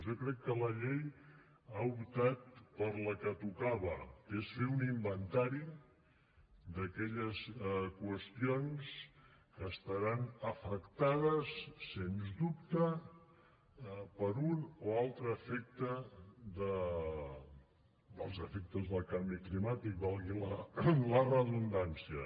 jo crec que la llei ha optat per la que tocava que és fer un inventari d’aquelles qüestions que estaran afectades sens dubte per un o altre efecte dels efectes del canvi climàtic valgui hi la redundància